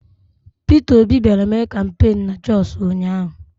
Pita Obi bịara mee kampain na Jọsụ ụnyaahụ.